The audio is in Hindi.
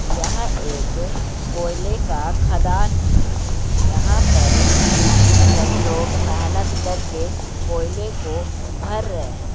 यह एक कोयले का खदान है।